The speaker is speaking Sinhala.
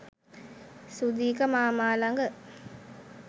සුධික මාමා ලග